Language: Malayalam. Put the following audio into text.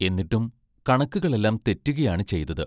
എന്നിട്ടും കണക്കുകൾ എല്ലാം തെറ്റുകയാണ് ചെയ്തത്.